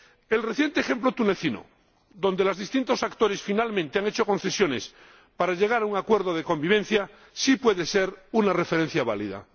El reciente ejemplo tunecino, en el que los distintos actores finalmente han hecho concesiones para llegar a un acuerdo de convivencia, sí puede ser una referencia válida.